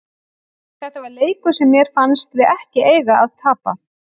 Þetta var leikur sem mér fannst við ekki eiga að tapa.